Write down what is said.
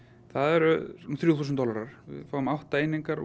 það eru um þrjú þúsund dollarar við fáum átta einingar úr